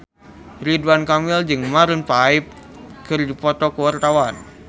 Ridwan Kamil jeung Maroon 5 keur dipoto ku wartawan